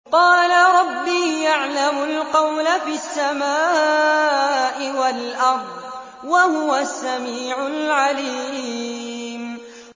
قَالَ رَبِّي يَعْلَمُ الْقَوْلَ فِي السَّمَاءِ وَالْأَرْضِ ۖ وَهُوَ السَّمِيعُ الْعَلِيمُ